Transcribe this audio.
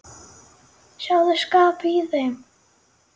Sjáðu skapið í þeim.